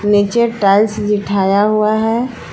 नीचे टाइल्स बिठाया हुआ है।